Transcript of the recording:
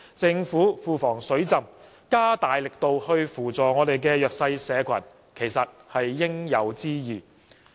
政府庫房"水浸"，加大力度扶助弱勢社群其實是應有之義。